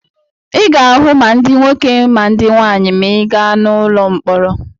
Ị ga-ahụ ma ndị nwoke ma ndị nwaanyị maa ị gaa n'ụlọ mkpọrọ.